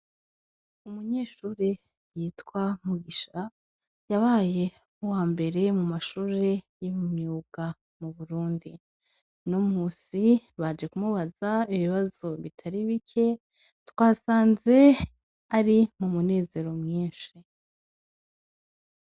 Umunyeshure yitwa Mugisha yabaye uwa mbere mu mashure yo mu myuga mu Burundi. Uno musi baje kumubaza ibibazo bitari bike twasanze ari umunezero mwinshi .